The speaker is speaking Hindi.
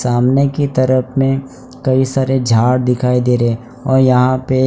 सामने की तरफ में कई सारे झाड़ दिखाई दे रहे हैं और यहां पे--